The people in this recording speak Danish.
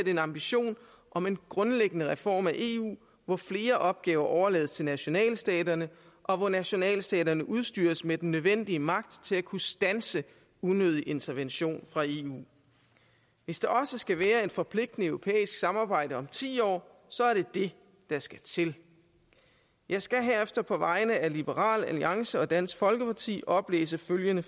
en ambition om en grundlæggende reform af eu hvor flere opgaver overlades til nationalstaterne og hvor nationalstaterne udstyres med den nødvendige magt til at kunne standse unødig intervention fra eu hvis der også skal være et forpligtende europæisk samarbejde om ti år så er det det der skal til jeg skal herefter på vegne af liberal alliance og dansk folkeparti oplæse følgende